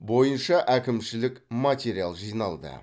бойынша әкімшілік материал жиналды